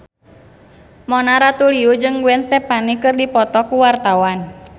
Mona Ratuliu jeung Gwen Stefani keur dipoto ku wartawan